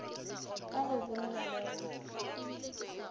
ka go boolwa le go